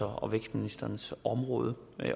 og vækstministerens områder